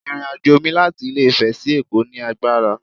My journey from Ilé ifè to Lagos was tiring